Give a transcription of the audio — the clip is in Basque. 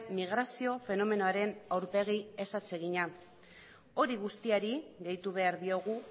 migrazio fenomenoaren aurpegi ez atsegina hori guztiari gehitu behar diogu